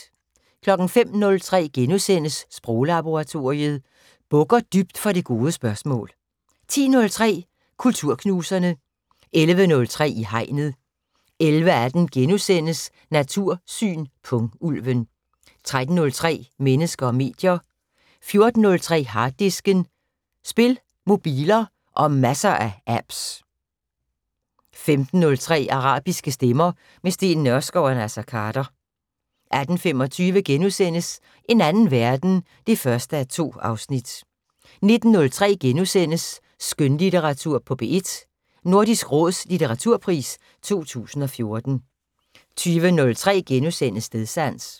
05:03: Sproglaboratoriet: Bukker dybt for det gode spørgsmål * 10:03: Kulturknuserne 11:03: I Hegnet 11:18: Natursyn: Pungulven * 13:03: Mennesker og medier 14:03: Harddisken: Spil, mobiler og masser af apps 15:03: Arabiske stemmer - med Steen Nørskov og Naser Khader 18:25: En anden verden (1:2)* 19:03: Skønlitteratur på P1: Nordisk Råds litteraturpris 2014 * 20:03: Stedsans *